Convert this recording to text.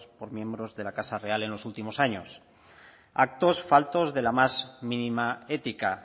por miembros de la casa real en los últimos años actos faltos de la más mínima ética